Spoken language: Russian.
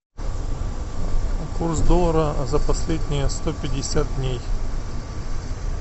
курс доллара за последние сто пятьдесят дней